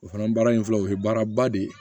O fana baara in filɛ o ye baara ba de ye